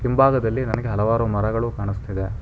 ಹಿಂಭಾಗದಲ್ಲಿ ನನಗೆ ಹಲವಾರು ಮರಗಳು ಕಾಣಿಸ್ತಿದೆ.